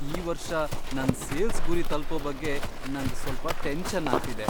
ಈ ವರ್ಷ ನನ್ ಸೇಲ್ಸ್ ಗುರಿ ತಲ್ಪೋ ಬಗ್ಗೆ ನಂಗ್ ಸ್ವಲ್ಪ ಟೆನ್ಷನ್ ಆಗ್ತಿದೆ.